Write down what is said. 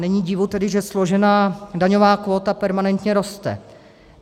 Není tedy divu, že složená daňová kvóta permanentně roste.